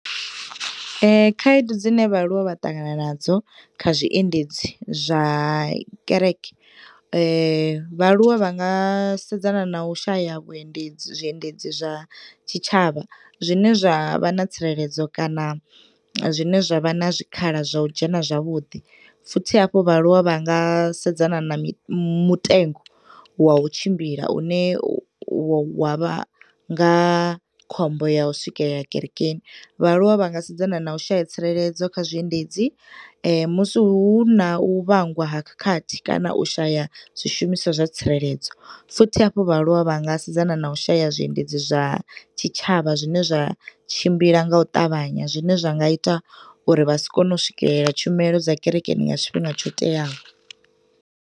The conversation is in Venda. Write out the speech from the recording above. Khaedu dzine vha aluwa vha ṱangana nadzo kha zwiendedzi zwa kereke, vha aluwa vha nga sedzana na u shaya vhuendedzi zwiendedzi zwa tshitshavha. Zwine zwa vha na tsireledzo kana zwi ne zwa vha na zwikhala zwa u dzhena zwavhuḓi. Futhi hafhu vha aluwa vha nga sedzana na mi mutengo wa u tshimbila une u wa vha nga khombo ya u swikela kerekeni. Vhaaluwa vha nga sedzana na u shaya tsireledzo kha zwiendedzi musi hu na u vhangwa ha khadi kana u shaya zwishumiswa zwa tsireledzo. Futhi hafhu vha aluwa vha nga sedzana na u shaya zwiendedzi zwa tshitshavha zwine zwa tshimbila nga u ṱavhanya, zwi ne zwa nga ita uri vha si kone u swikelela tshumelo dza kerekeni nga tshifhinga tsho teaho.